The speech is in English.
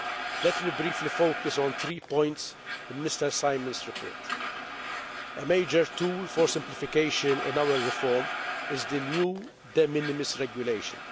Let me briefly focus on three points in Mr Simon's report A major tool for simplification in our reform is the new de minimis regulation.